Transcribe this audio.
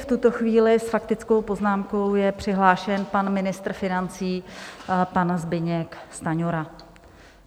V tuto chvíli s faktickou poznámkou je přihlášen pan ministr financí, pan Zbyněk Stanjura.